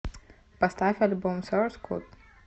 поставь альбом соурс код